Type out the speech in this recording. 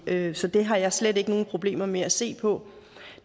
det så det har jeg slet ikke nogen problemer med at se på